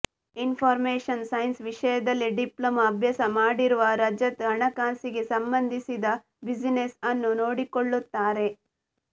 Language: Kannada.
ಇನ್ಫಾರ್ಮೇಶನ್ ಸೈನ್ಸ್ ವಿಷಯದಲ್ಲಿ ಡಿಪ್ಲೊಮಾ ಅಭ್ಯಾಸ ಮಾಡಿರುವ ರಜತ್ ಹಣಕಾಸಿಗೆ ಸಂಬಂಧಿಸಿದ ಬ್ಯುಸಿನೆಸ್ ಅನ್ನೂ ನೋಡಿಕೊಳ್ಳುತ್ತಾರೆ